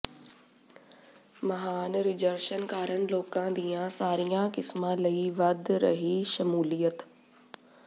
ਮਹਾਨ ਰਿਜ਼ਰਸ਼ਨ ਕਾਰਨ ਲੋਕਾਂ ਦੀਆਂ ਸਾਰੀਆਂ ਕਿਸਮਾਂ ਲਈ ਵਧ ਰਹੀ ਸ਼ਮੂਲੀਅਤ